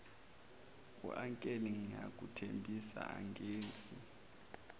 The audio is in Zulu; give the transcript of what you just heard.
uncle ngiyakuthembisa angenzi